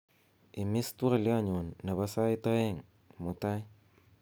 imis twolyonyun nebo sait oeng mutai